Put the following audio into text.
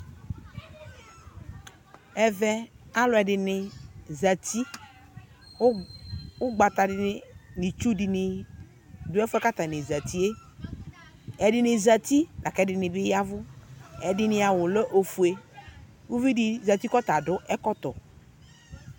Ɛvɛ aluɛdini zati ugbatadini nu itsudini du ɛfɛ ku atani zati ɛdini zati laku ɛdini bi yavu ɛdini awu lɛ ofue uvidi zati ku ɔta du ɛkɔtɔ